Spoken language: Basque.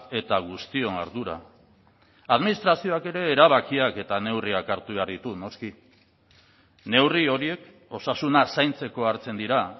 eta guztion ardura administrazioak ere erabakiak eta neurriak hartu behar ditu noski neurri horiek osasuna zaintzeko hartzen dira